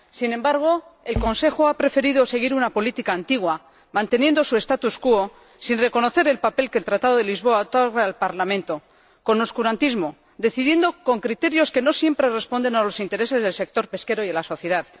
Sin embargo, el Consejo ha preferido seguir una política antigua manteniendo su status quo sin reconocer el papel que el Tratado de Lisboa otorga al Parlamento, con oscurantismo, decidiendo con criterios que no siempre responden a los intereses del sector pesquero y a la sociedad.